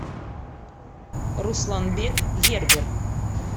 русланбек гербер